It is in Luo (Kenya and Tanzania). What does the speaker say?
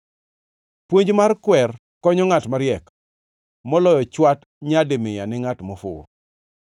Puonj mar kwer konyo ngʼat mariek, moloyo chwat nyadi mia ni ngʼat mofuwo.